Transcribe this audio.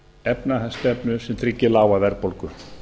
efnahagsstefnu sem tryggir lága verðbólgu